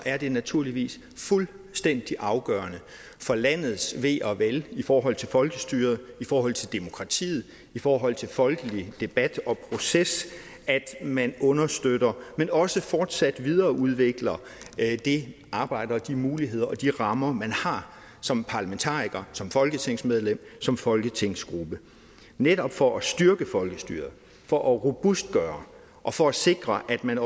er det naturligvis fuldstændig afgørende for landets ve og vel i forhold til folkestyret i forhold til demokratiet i forhold til folkelig debat og proces at man understøtter men også fortsat videreudvikler det arbejde og de muligheder og de rammer man har som parlamentariker som folketingsmedlem som folketingsgruppe netop for at styrke folkestyret for at robustgøre og for at sikre at man